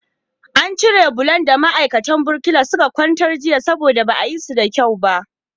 An cire bulo da ma'aikatan birkila suka kwantar jiya saboda ba a yi su da kyau ba.